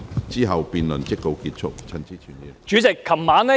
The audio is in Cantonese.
之後辯論即告結束。